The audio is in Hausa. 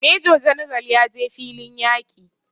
Major general ya je filin yaƙi